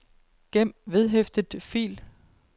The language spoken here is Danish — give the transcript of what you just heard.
gem vedhæftet fil